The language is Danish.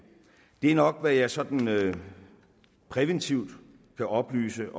det er nok hvad jeg sådan præventivt kan oplyse